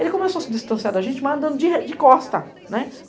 Ele começou a se distanciar da gente, mas andando de costa.